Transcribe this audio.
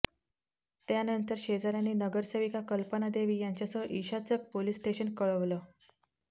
त्यानंतर शेजाऱ्यांनी नगरसेविका कल्पना देवी यांच्यासह ईशाचक पोलीस स्टेशन कळवलं